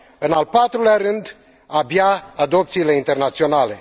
în al patrulea rând, abia, adopțiile internaționale.